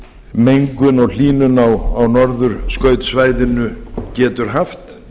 mengun og hlýnun á norðurskautssvæðinu getur haft